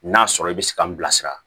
N'a sɔrɔ i bɛ se ka n bilasira